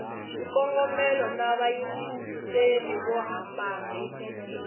swikongomelo na vayingiseri vo hambana